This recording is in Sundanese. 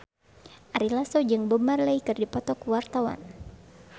Ari Lasso jeung Bob Marley keur dipoto ku wartawan